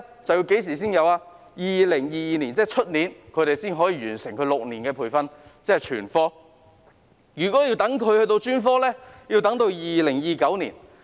就是要到2022年，即在明年才可以完成6年的全科培訓，而如果要等他們完成專科便要等到2029年。